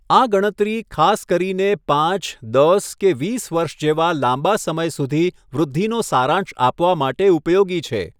આ ગણતરી ખાસ કરીને પાંચ, દસ, કે વીસ વર્ષ જેવા લાંબા સમય સુધી વૃદ્ધિનો સારાંશ આપવા માટે ઉપયોગી છે.